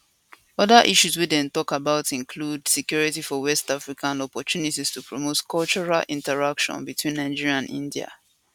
oda issues wey dem tok about include security for west africa and opportunities to promote cultural interaction between nigeria and india